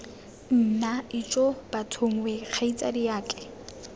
nna ijoo bathong wee kgaitsadiake